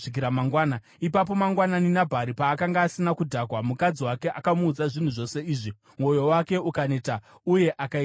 Ipapo mangwanani, Nabhari paakanga asina kudhakwa, mukadzi wake akamuudza zvinhu zvose izvi, mwoyo wake ukaneta uye ukaita sedombo.